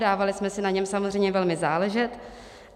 Dávali jsme si na něm samozřejmě velmi záležet.